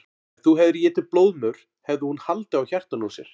Ef þú hefðir étið blóðmör hefði hún haldið á hjartanu úr sér.